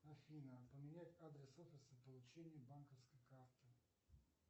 афина поменять адрес офиса получения банковской карты